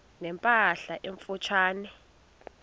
ne mpahla emfutshane